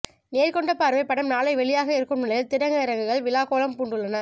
நேர்கொண்ட பார்வை படம் நாளை வெளியாக இருக்கும் நிலையில் திரையரங்குகள் விழாக்கோலம் பூண்டுள்ளன